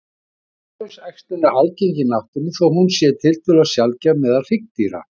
Kynlaus æxlun er algeng í náttúrunni þó hún sé tiltölulega sjaldgæf meðal hryggdýra.